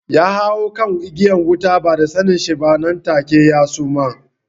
Ya hau kan igiyar wuta ba da sanen shi ba nan take ya suma